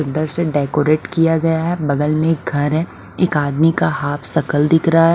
सुंदर से डेकोरेट किया गया है बगल में एक घर है एक आदमी का हाफ शकल दिख रहा है।